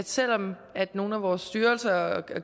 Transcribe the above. selv om nogle af vores styrelser og